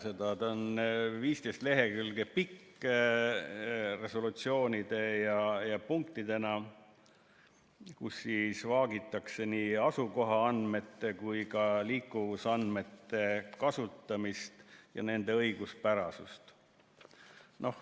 See on 15 lehekülge pikk tekst resolutsioonide ja punktidena, kus vaagitakse nii asukohaandmete kui ka liikuvusandmete kasutamist ja nende õiguspärasust.